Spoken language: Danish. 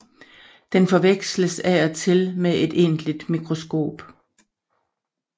Den forveksles af og til med et egentligt mikroskop